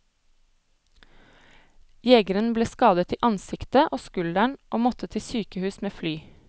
Jegeren ble skadet i ansiktet og skulderen og måtte til sykehus med fly.